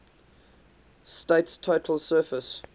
state's total surface